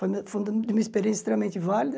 Foi uma experiência extremamente válida.